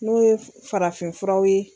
N'o ye farafin furaw ye.